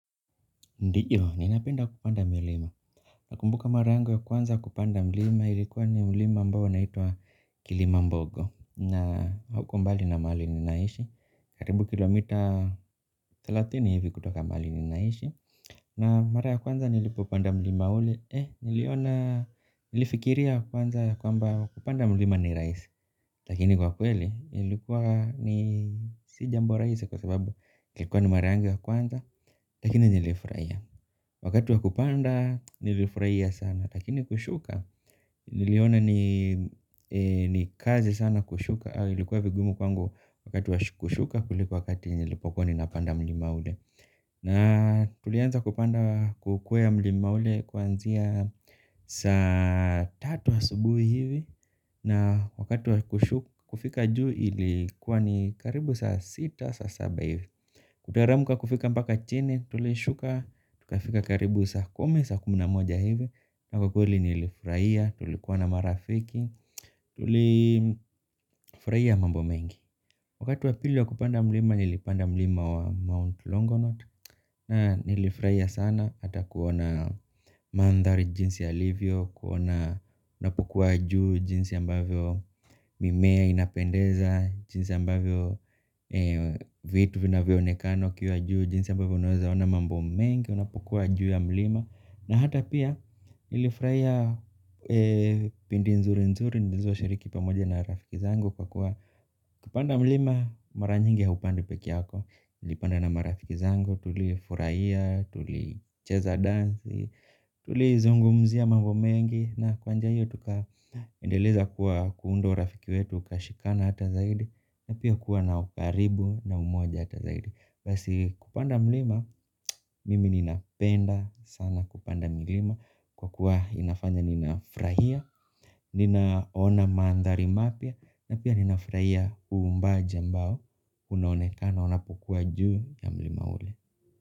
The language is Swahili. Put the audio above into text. Ndiyo, ninapenda kupanda mlima. Nakumbuka mara yangu ya kwanza kupanda mlima, ilikuwa ni mlima ambao naitwa kilimambogo. Na hauko mbali na mahali ni naishi. Karibu kilomita thelathini hivi kutoka mahali ni naishi. Na mara ya kwanza nilipo upanda mlima ule. Eh, niliona, nilifikiria kwanza ya kwamba kupanda mlima ni rahisi. Lakini kwa kweli, ilikuwa ni sijambo rahisi kwa sababu ilikuwa ni mara yangu ya kwanza, lakini nilifurahia. Wakati wa kupanda nilifurahia sana lakini kushuka niliona ni kazi sana kushuka au ilikuwa vigumu kwangu wakati wa kushuka kuliko wakati nilipokuwa ninapanda mlima ule na tulianza kupanda kukwea mlima ule kuanzia saa tatu asubuhi hivi na wakati wa kushuka kufika juu ilikuwa ni karibu saa sita saa saba hivi. Kutaremuka kufika mpaka chini, tulishuka, tukafika karibu saa kumi, saa kumi na moja hivi, na kwa kweli nilifurahia, tulikuwa na marafiki, tulifurahia mambo mengi. Wakati wa pili wa kupanga mlima nilipanda mlima wa mt Longonot napukua juu jinsi ambavyo mimea inapendeza, jinsi ambavyo vitu vina vyo onekana ukiwa juu, jinsi ambavyo unaweza ona mambo mengi, unapokuwa juu ya mlima. Na hata pia nilifurahia pindi nzuri nzuri nilizo shiriki pamoja na rafiki zangu kwa kuwa kupanda mlima mara nyingi haupandwi peke yako. Ilipanda na marafiki zangu. Tuli furahia, tuli cheza dansi. Tuli zungumzia mambo mengi na kwa njia hiyo tuka endeleza kuwa kuunda urafiki wetu ukashikana hata zaidi na pia kuwa na ukaribu na umoja hata zaidi basi kupanda mlima, mimi ninapenda sana kupanda mlima kwa kuwa inafanya ninafurahia, ninaona mandhari mapya na pia ninafurahia uumbaji mbao, unoneka na unapokua juu ya mlima ule.